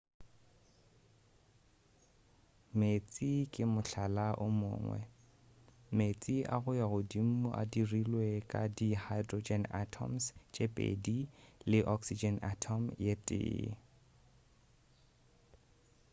meetse ke mohlala o mongwe meetse a go ya godimo a dirilwe ka di hydrogen atoms tše pedi le oxygen atom ye tee